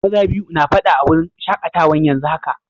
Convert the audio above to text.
Maza biyu na fada a'wurin shakatawan yanzu haka.